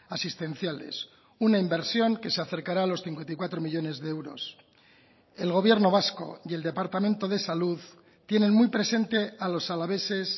asistenciales una inversión que se acercará a los cincuenta y cuatro millónes de euros el gobierno vasco y el departamento de salud tienen muy presente a los alaveses